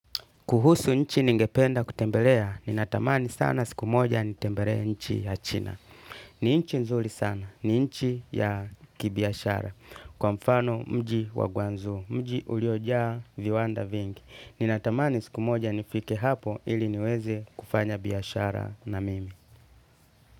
Kuhusu nchi ningependa kutembelea, ninatamani sana siku moja nitembelee nchi ya china. Ni nchi nzuri sana, ni nchi ya kibiashara. Kwa mfano mji wa guangzhou, mji uliojaa viwanda vingi. Ninatamani siku moja nifike hapo ili niweze kufanya biashara na mimi.